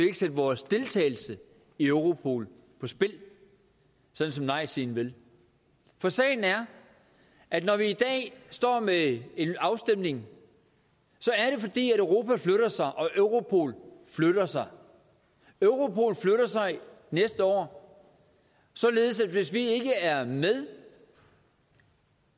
ikke sætte vores deltagelse i europol på spil sådan som nejsiden vil for sagen er at når vi i dag står med en afstemning er det fordi europa flytter sig og europol flytter sig europol flytter sig næste år således at hvis vi ikke er med